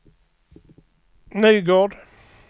Nygård